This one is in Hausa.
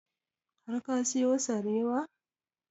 Har ka siyo sarewa?